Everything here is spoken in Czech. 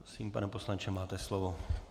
Prosím, pane poslanče, máte slovo.